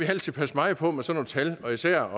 altid passe meget på med sådan nogle tal og især